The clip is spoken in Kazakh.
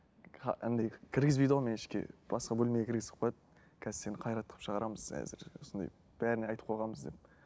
андай кіргізбейді ғой мені ішке басқа бөлмеге кіргізіп қояды қазір сені қайрат қылып шығарамыз әзір осындай бәріне айтып қойғанбыз деп